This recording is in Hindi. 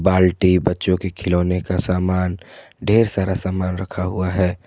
बाल्टी बच्चों के खिलौने का सामान ढेर सारा सामान रखा हुआ है।